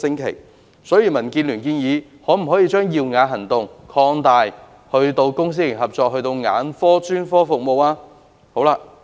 因此，民建聯建議將"耀眼行動"擴大至公私營合作的眼科專科服務。